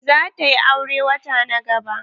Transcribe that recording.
Za ta yi aure wata na gaba.